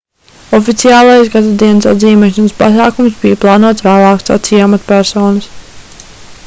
oficiālais gadadienas atzīmēšanas pasākums bija plānots vēlāk sacīja amatpersonas